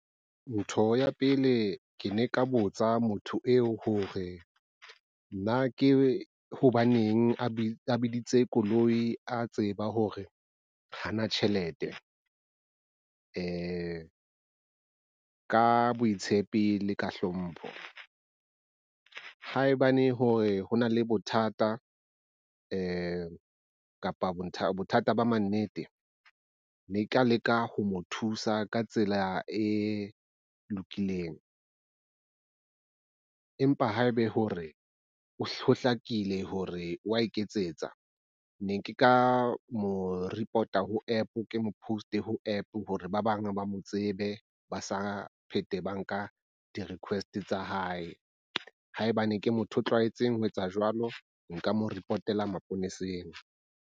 Ntho ya pele ke ne ke ka botsa motho eo hore na ke hobaneng a biditse koloi a tseba hore hana tjhelete. Ka boitshepi le ka hlompho haebane hore ho na le bothata kapa bothata ba mannete, ne ke ka leka ho mo thusa ka tsela e lokileng. Empa haebe hore ho hlakile hore wa iketsetsa ne ke ka mo report-a ho app, ke mo post-e ho app hore ba bang ba mo tsebe ba ska pheta, ba nka di request tsa hae haebane ke motho a tlwaetseng ho etsa jwalo nka mo repotela maponeseng.